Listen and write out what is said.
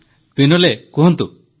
ହଁ ବିନୋଲେ କୁହନ୍ତୁ